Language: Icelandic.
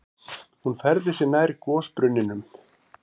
Hún færði sig nær gosbrunninum.